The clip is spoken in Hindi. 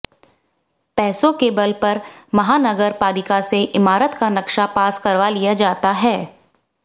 पैसों के बल पर महानगर पालिका से इमारत का नक्शा पास करवा लिया जाता है